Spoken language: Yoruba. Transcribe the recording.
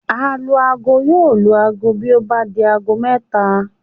Alu-aago yóò lu aago bí ó bá di aago mẹ́ta